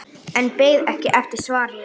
En beið ekki eftir svari.